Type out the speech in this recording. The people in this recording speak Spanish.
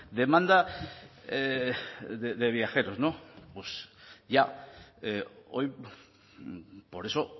demanda de viajeros no pues ya hoy por eso